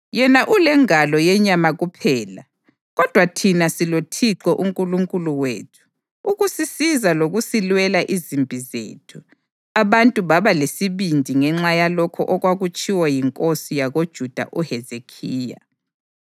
Yena ulengalo yenyama kuphela, kodwa thina siloThixo uNkulunkulu wethu ukusisiza lokusilwela izimpi zethu.” Abantu baba lesibindi ngenxa yalokho okwatshiwo yinkosi yakoJuda uHezekhiya.